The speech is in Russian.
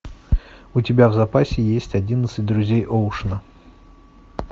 у тебя в запасе есть одиннадцать друзей оушена